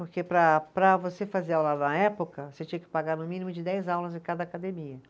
Porque para para você fazer aula na época, você tinha que pagar no mínimo de dez aulas em cada academia.